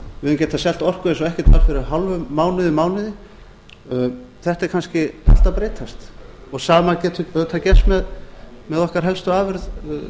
við hefðum getað selt orku eins og ekkert væri fyrir hálfum mánuði mánuði þetta er kannski allt að breytast sama getur auðvitað gerst með okkar helstu afurð